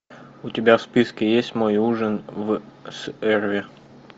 у тебя в списке есть мой ужин с эрве